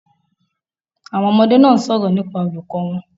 Àwon ọmọdé náà sòrò nípa olùkó won